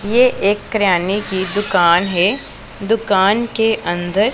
ये एक किराने की दुकान है दुकान के अंदर--